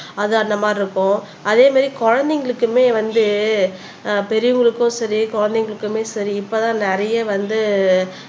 அது அந்த மாதிரி இருக்கும் அதே மாதிரி குழந்தைகளுக்குமே வந்து ஆஹ் பெரியவங்களுக்கும் சரி குழந்தைங்களுக்குமே சரி இப்பதான் நிறைய வந்து